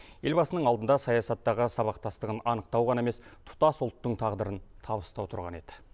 елбасының алдында саясаттағы сабақтастығын анықтау ғана емес тұтас ұлттың тағдырын табыстау тұрған еді